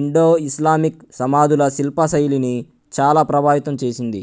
Indo Islamic సమాధుల శిల్పశైలిని చాలా ప్రభావితం చేసింది